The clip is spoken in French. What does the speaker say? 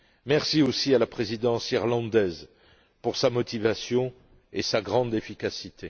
Merci aussi à la présidence irlandaise pour sa motivation et sa grande efficacité.